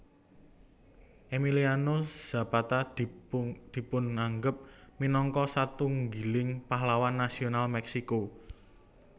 Emiliano Zapata dipunanggep minangka satunggiling pahlawan nasional Mèksiko